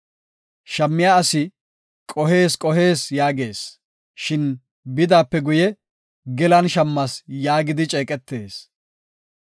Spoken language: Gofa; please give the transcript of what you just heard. Shammiya asi, “Qohees! Qohees!” yaagees; shin bidaape guye, “Gelan shammas” yaagidi ceeqetees.